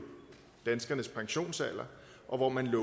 danskernes pensionsalder og hvor man